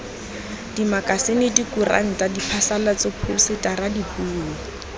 dimakasine dikuranta diphasalatso phousetara dipuo